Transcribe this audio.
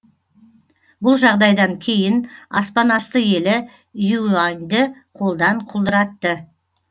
бұл жағдайдан кейін аспанасты елі юаньді қолдан құлдыратты